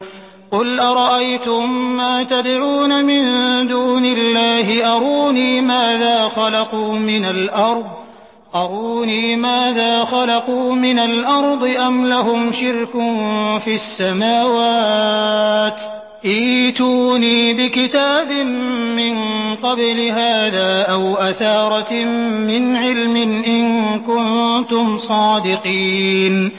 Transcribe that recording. قُلْ أَرَأَيْتُم مَّا تَدْعُونَ مِن دُونِ اللَّهِ أَرُونِي مَاذَا خَلَقُوا مِنَ الْأَرْضِ أَمْ لَهُمْ شِرْكٌ فِي السَّمَاوَاتِ ۖ ائْتُونِي بِكِتَابٍ مِّن قَبْلِ هَٰذَا أَوْ أَثَارَةٍ مِّنْ عِلْمٍ إِن كُنتُمْ صَادِقِينَ